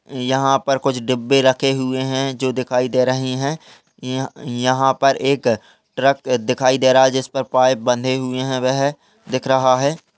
यहाँ पर कुछ डिब्बे रखे हुए हैं जो दिखाई दे रहे हैं। य यहाँ पर एक ट्रक दिखाई दे रहा है जिस पर पाइप बंधे हुए हैं। वह दिख रहा है।